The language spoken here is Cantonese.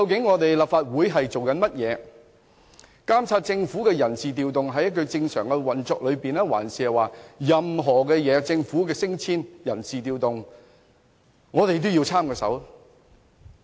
我們是否連政府的人事調動等正常運作或政府的人事調動和升遷都要插手呢？